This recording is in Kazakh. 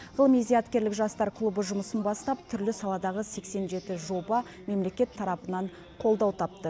ғылыми зияткерлік жастар клубы жұмысын бастап түрлі саладағы сексен жеті жоба мемлекет тарапынан қолдау тапты